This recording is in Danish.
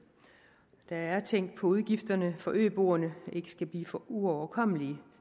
der er tænkt på at udgifterne for øboerne ikke skal blive for uoverkommelige